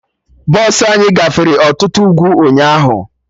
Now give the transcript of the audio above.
Bọsụ anyị gafere ọtụtụ ugwu ụnyaahụ